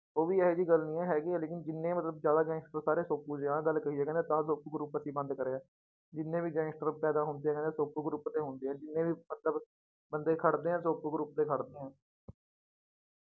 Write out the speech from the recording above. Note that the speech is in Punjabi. ਉਹ ਵੀ ਇਹ ਜਿਹੀ ਗੱਲ ਨੀ ਹੈ ਹੈਗੀ ਹੈ ਲੇਕਿੰਨ ਜਿੰਨੇ ਮਤਲਬ ਜ਼ਿਆਦਾ gangster ਸਾਰੇ ਸੋਪੂ ਦੇ ਆਹ ਗੱਲ ਕਹੀ ਹੈ ਕਹਿੰਦਾ ਤਾਂ ਸੋਪੂ group ਅਸੀਂ ਬੰਦਾ ਕਰਿਆ, ਜਿੰਨੇ ਵੀ gangster ਪੈਦਾ ਹੁੰਦੇ ਹੈ ਸੋਪੂ group ਦੇ ਹੁੰਦੇ ਹੈ ਜਿੰਨੇ ਵੀ ਮਤਲਬ ਬੰਦੇ ਖੜਦੇ ਹੈ ਸੋਪੂ group ਦੇ ਖੜਦੇ ਹੈ।